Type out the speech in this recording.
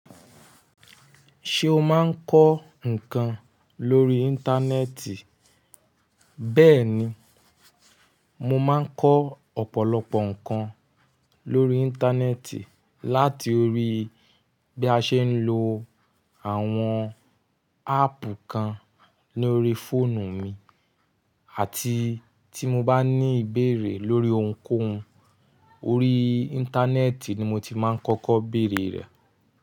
Ṣé o máa ń kọ́ nǹkan lórí Íńtánẹ́ẹ̀tì? Bẹ́ẹ̀ni, mo máa ń kọ́ ọ̀pọ̀lọpọ̀ nǹkan lórí Íńtánẹ́ẹ̀tì láti orí bí a ṣe ń lo àwọn áàpù kan lórí fóònù mi àti tí mo bá ní ìbéèrè lórí ohunkóhun, orí Íńtánẹ́ẹ̀tì ni mo ti máa ń kọ́kọ́ bèèrè rẹ̀.